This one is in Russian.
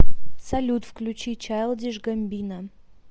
салют включи чилдиш гамбино